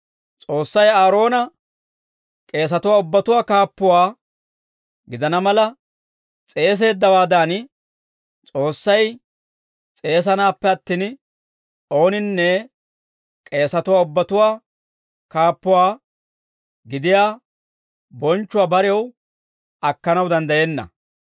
S'oossay Aaroona k'eesatuwaa ubbatuwaa kaappuwaa gidana mala s'eeseeddawaadan, S'oossay s'eesanaappe attin, ooninne k'eesatuwaa ubbatuwaa kaappuwaa gidiyaa bonchchuwaa barew akkanaw danddayenna.